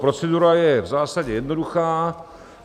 Procedura je v zásadě jednoduchá.